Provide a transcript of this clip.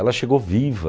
Ela chegou viva.